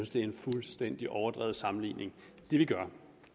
det er en fuldstændig overdreven sammenligning det vi gør